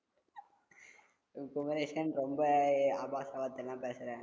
குமரேசன் ரொம்ப ஆபாச வார்த்தை எல்லாம் பேசறே